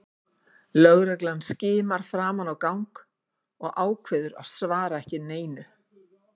Lögreglan skimar fram á gang og ákveður að svara ekki neinu.